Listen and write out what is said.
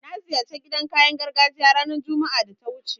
Na ziyarci idan kayan gargajiya ranar Juma'a ta da wuce